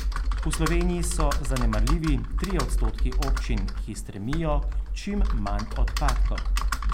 V Sloveniji so zanemarljivi trije odstotki občin, ki stremijo k čim manj odpadkom.